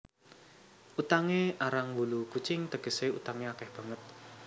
Utangé arang wulu kucing tegesé utangé akeh banget